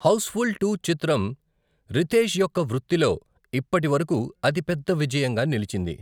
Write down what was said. Housefull two చిత్రం రితేష్ యొక్క వృత్తిలో ఇప్పటి వరకు అతి పెద్ద విజయంగా నిలిచింది.